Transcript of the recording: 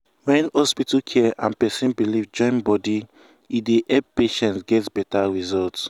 when hospital care and person belief join body e dey make patient get better result.